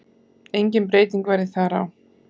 Engin breyting verði þar á.